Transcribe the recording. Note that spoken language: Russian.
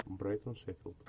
брайтон шеффилд